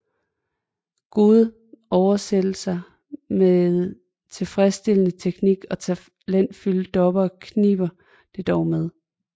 Gode oversættelser med tilfredsstillende teknik og talentfulde dubbere kniber det dog med